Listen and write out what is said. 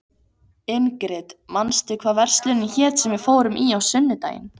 Ingrid, manstu hvað verslunin hét sem við fórum í á sunnudaginn?